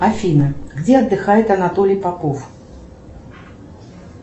афина где отдыхает анатолий попов